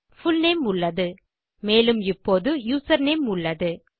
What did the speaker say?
full name உள்ளது மேலும் இப்போது யூசர்நேம் உள்ளது